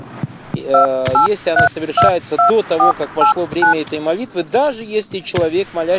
аа если оно совершается до того как прошло время этой молитвы даже если человек моля